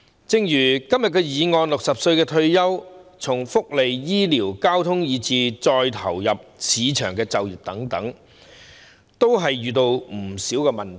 正如今天的議案指出，市民60歲退休後，在就業、福利、醫療、交通等方面均遇到不少問題。